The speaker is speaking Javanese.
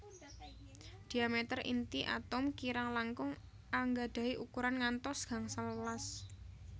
Diameter inti atom kirang langkung angadahi ukuran ngantos gangsal welas